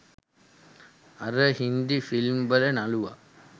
අර හින්දි ෆිල්ම් වල නළුවා